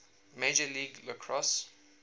major league lacrosse